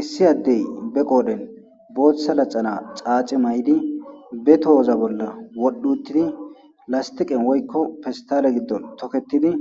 issi addey be qoodhen booththa laxana xaaxi maydi be tohoza bolla wodhuttidi lastiqen woykko pestale giddon toketidi